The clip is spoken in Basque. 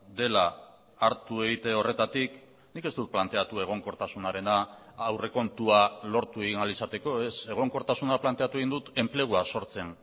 dela hartu egite horretatik nik ez dut planteatu egonkortasunarena aurrekontua lortu egin ahal izateko ez egonkortasuna planteatu egin dut enplegua sortzen